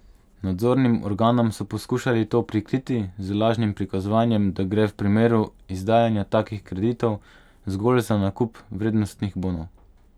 Nadzornim organom so poskušali to prikriti z lažnim prikazovanjem, da gre v primeru izdajanja takih kreditov zgolj za nakup vrednostnih bonov.